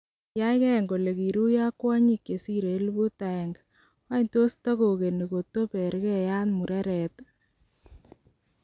Kiyaiy gen kole kiruyo ok kwonyik chesire 1000, wany tos togegine koto Beerkeeyati mureret?